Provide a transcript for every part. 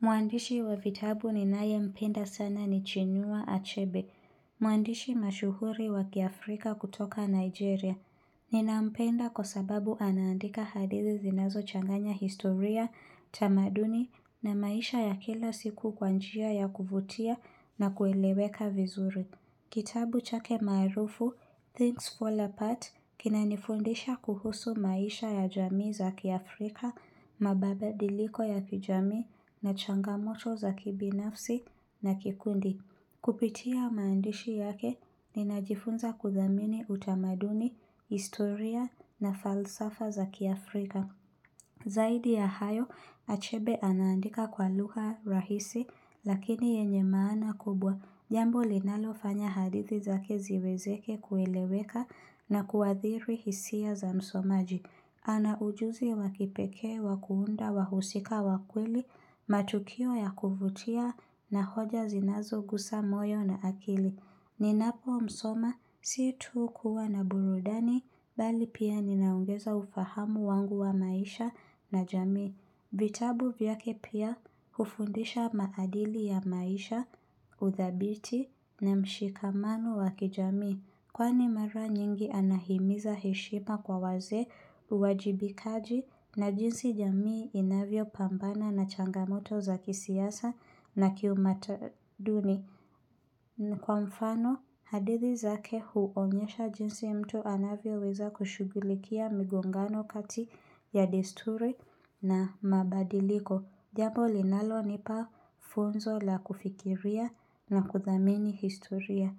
Mwandishi wa vitabu ninayempenda sana ni Chinua Achebe. Mwandishi mashuhuri wa kiafrika kutoka Nigeria. Ninampenda kwa sababu anaandika hadithi zinazochanganya historia, tamaduni na maisha ya kila siku kwa njia ya kuvutia na kueleweka vizuri. Kitabu chake maarufu, Things Fall Apart, kinanifundisha kuhusu maisha ya jamii za kiafrika, mabadiliko ya kijamii na changamoto za kibinafsi na kikundi. Kupitia maandishi yake, ninajifunza kudhamini utamaduni, historia na falsafa za kiafrika. Zaidi ya hayo, achebe anaandika kwa lugha rahisi, lakini yenye maana kubwa. Jambo linalofanya hadithi zake ziwezeke kueleweka na kuadhiri hisia za msomaji. Ana ujuzi wa kipekee, wa kuunda, wahusika, wa kweli, matukio ya kuvutia na hoja zinazogusa moyo na akili. Ninapomsoma, si tu kuwa na burudani, bali pia ninaongeza ufahamu wangu wa maisha na jamii. Vitabu vyake pia, hufundisha maadili ya maisha, uthabiti na mshikamano wa kijamii. Kwani mara nyingi anahimiza heshima kwa wazee, uwajibikaji na jinsi jamii inavyopambana na changamoto za kisiasa na kiutamaduni. Na kwa mfano, hadithi zake huonyesha jinsi mtu anavyoweza kushughulikia migongano kati ya desturi na mabadiliko. Jambo linalonipa funzo la kufikiria na kuthamini historia.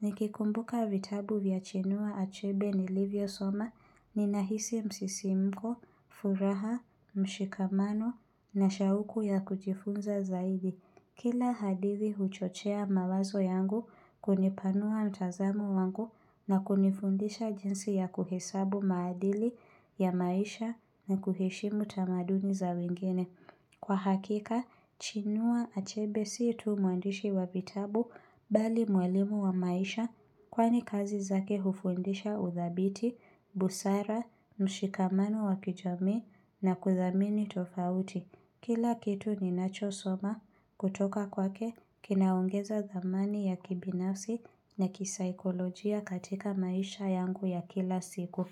Nikikumbuka vitabu vya chinua achebe nilivyosoma ninahisi msisimko, furaha, mshikamano na shauku ya kujifunza zaidi. Kila hadithi huchochea mawazo yangu kunipanua mtazamo wangu na kunifundisha jinsi ya kuhesabu maadili ya maisha na kuheshimu tamaduni za wengine. Kwa hakika, chinua achebe si tu mwandishi wa vitabu bali mwalimu wa maisha kwani kazi zake hufundisha udhabiti, busara, mshikamano wakijamii na kuthamini tofauti. Kila kitu ninachosoma kutoka kwake kinaongeza thamani ya kibinafsi na kisaikolojia katika maisha yangu ya kila siku.